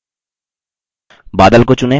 बादल को चुनें